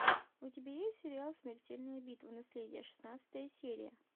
у тебя есть сериал смертельная битва наследие шестнадцатая серия